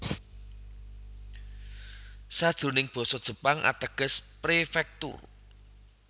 Sajroning basa Jepang ateges prefektur